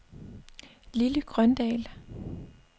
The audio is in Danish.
Lily Grøndahl